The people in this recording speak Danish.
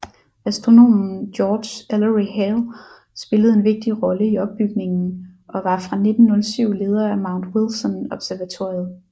Astronomen George Ellery Hale spillede en vigtig rolle i opbygningen og var fra 1907 leder af Mount Wilson observatoriet